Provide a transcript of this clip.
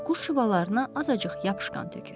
Quş yuvalarına azacıq yapışqan tökür.